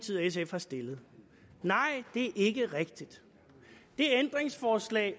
sf har stillet nej det er ikke rigtigt det ændringsforslag